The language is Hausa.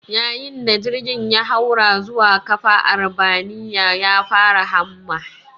Yayin da jirgin ya haura zuwa ƙafa arbaminya, ya fara hamma